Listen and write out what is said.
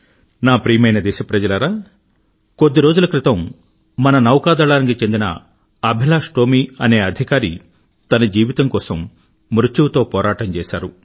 నా ప్రియమైన దేశప్రజలారా కొద్ది రోజుల క్రితం మన నౌకా దళానికి చెందిన అభిలాష్ టోమీ అనే అధికారి తన జీవితం కోసం మృత్యువుతో పోరాటం చేశారు